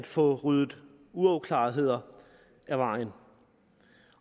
få ryddet uklarheder af vejen